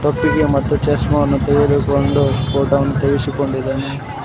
ಮತ್ತೆ ಚಶ್ಮಾವನ್ನು ತೆಗೆದುಕೊಂಡು ಫೋಟೋವನ್ನು ತೆಗೆಸಿಕೊಂಡಿದ್ದಾನೆ.